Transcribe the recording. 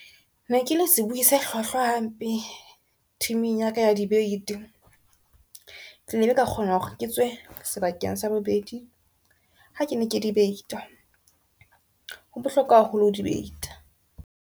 Ne ke le sebui se hlwahlwa hampe team-ing ya ka ya debate. Ke ne be ka kgona hore ke tswe sebakeng sa bobedi ha ke ne ke debate-a. Ho bohlokwa haholo ho debate-a.